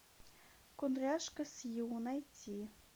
кудряшка сью найти